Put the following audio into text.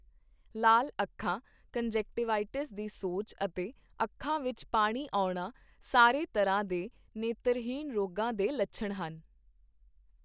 ਲਾਲ ਅੱਖਾਂ, ਕੰਨਜੈਕਟਿਵਾ ਦੀ ਸੋਜ ਅਤੇ ਅੱਖਾਂ ਵਿੱਚ ਪਾਣੀ ਆਉਣਾ ਸਾਰੇ ਤਰ੍ਹਾਂ ਦੇ ਨੇਤਰਹੀਣ ਰੋਗਾਂ ਦੇ ਲੱਛਣ ਹਨ।